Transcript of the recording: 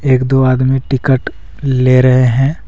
एक दो आदमी टिकट ले रहे हैं।